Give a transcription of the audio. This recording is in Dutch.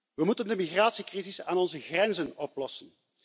We moeten de migratiecrisis aan onze grenzen oplossen.